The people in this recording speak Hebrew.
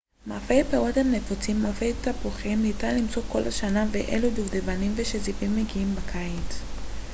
מאפי פירות הם נפוצים מאפי תפוחים ניתן למצוא כל השנה ואילו הדובדבנים והשזיפים מגיעים בקיץ